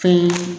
Fɛn